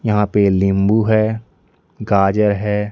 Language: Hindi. यहां पे लिंबू है गाजर है।